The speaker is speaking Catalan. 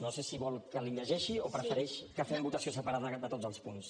no sé si vol que els hi llegeixi o prefereix que fem votació separada de tots els punts